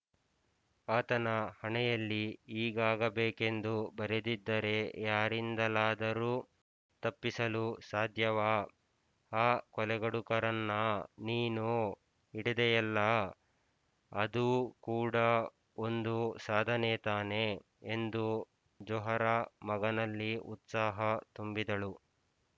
ಆತನ ಹಣೆಯಲ್ಲಿ ಹೀಗಾಗಬೇಕೆಂದು ಬರೆದಿದ್ದರೆ ಯಾರಿಂದಲಾದರೂ ತಪ್ಪಿಸಲು ಸಾಧ್ಯವಾ ಆ ಕೊಲೆಗಡುಕರನ್ನ ನೀನು ಹಿಡಿದೆಯಲ್ಲಾ ಅದೂ ಕೂಡಾ ಒಂದು ಸಾಧನೆ ತಾನೇ ಎಂದು ಜೊಹರಾ ಮಗನಲ್ಲಿ ಉತ್ಸಾಹ ತುಂಬಿದಳು